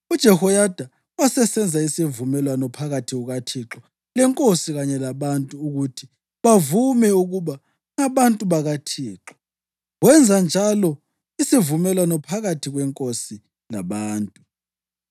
UJehoyada wasesenza isivumelwano phakathi kukaThixo lenkosi kanye labantu ukuthi bavume ukuba ngabantu bakaThixo. Wenza njalo isivumelwano phakathi kwenkosi labantu.